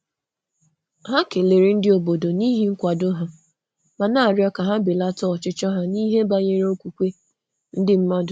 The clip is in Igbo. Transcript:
Hà nwere ekele maka nkwàdó obodo, ma na-achọ ka e nwee ndò na ihe e tụrụ anya n’okwukwe.